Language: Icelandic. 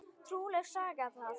Trúleg saga það!